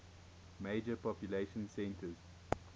major population centers